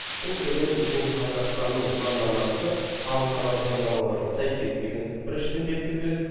бұл деген біздің қазақстанның заңнамасы халықаралық заңнамаларға сәйкес деген біріншіден белгіні береді